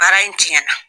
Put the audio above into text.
Baara in tiɲɛna